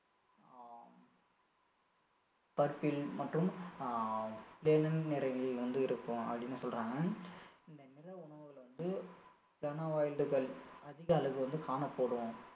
ஆஹ் purple மற்றும் ஆஹ் வந்து இருக்கும் அப்படின்னு சொல்றாங்க இந்த நிற உணவுல வந்து அதிகளவில வந்து காணப்படும்